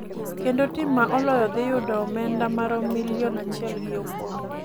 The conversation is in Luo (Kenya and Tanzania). kendo tim ma oloyo dhi yudo omenda maromo milion achiel gi okombe